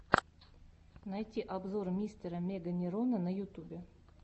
найти обзор мистера меганерона на ютубе